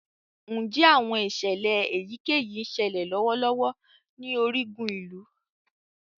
Njẹ awọn iṣẹlẹ eyikeyi ńsele lọwọlọwọ ni origun ilu?